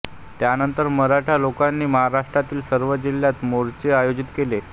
त्यानंतर मराठा लोकांनी महाराष्ट्रातील सर्व जिल्ह्यांत मोर्चे आयोजित केले